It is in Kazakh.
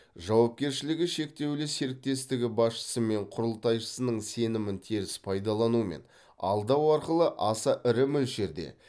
жауапкершілігі шектеулі серіктестігі басшысы мен құрылтайшысының сенімін теріс пайдалану мен алдау арқылы аса ірі мөлшерде